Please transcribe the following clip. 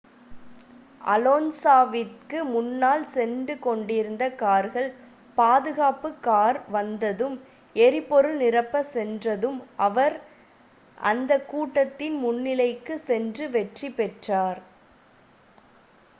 அலோன்ஸாவிற்கு முன்னால் சென்று கொண்டிருந்த கார்கள் பாதுகாப்பு கார் வந்ததும் எரிபொருள் நிரப்பச் சென்றதும் அவர் அந்த கூட்டத்தின் முன்னிலைக்குச் சென்று வெற்றி பெற்றார்